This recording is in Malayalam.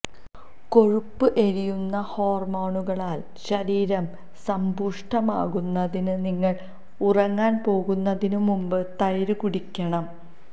കൊഴുപ്പ് എരിയുന്ന ഹോർമോണുകളാൽ ശരീരം സമ്പുഷ്ടമാക്കുന്നതിന് നിങ്ങൾ ഉറങ്ങാൻ പോകുന്നതിനു മുമ്പ് തൈര് കുടിക്കണം